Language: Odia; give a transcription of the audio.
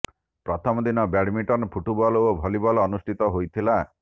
ପ୍ରଥମ ଦିନ ବ୍ୟାଡମିଣ୍ଟନ ଫୁଟବଲ ଓ ଭଲିବଲ ଅନୁଷ୍ଠିତ ହୋଇଥିଲା